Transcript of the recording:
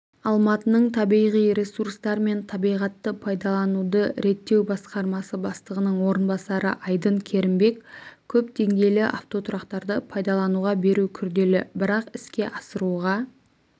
алматының табиғи ресурстар мен табиғатты пайдалануды реттеу басқармасы бастығының орынбасары айдын керімбек көп деңгейлі автотұрақтарды пайдалануға беру күрделі бірақ іске асыруға